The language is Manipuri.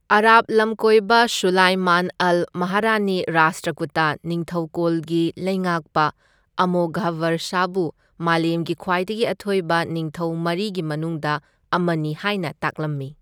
ꯑꯥꯔꯕ ꯂꯝꯀꯣꯢꯕ ꯁꯨꯂꯥꯏꯃꯥꯟ ꯑꯜ ꯃꯥꯍꯔꯤꯅ ꯔꯥꯁꯇ꯭ꯔꯀꯨꯇꯥ ꯅꯤꯡꯊꯧꯀꯣꯜꯒꯤ ꯂꯩꯉꯥꯛꯄ ꯑꯃꯣꯘꯕꯔꯁꯥꯕꯨ ꯃꯥꯂꯦꯝꯒꯤ ꯈ꯭ꯋꯥꯏꯗꯒꯤ ꯑꯊꯣꯏꯕ ꯅꯤꯡꯊꯧ ꯃꯔꯤꯒꯤ ꯃꯅꯨꯡꯗ ꯑꯃꯅꯤ ꯍꯥꯢꯅ ꯇꯥꯛꯂꯝꯃꯤ꯫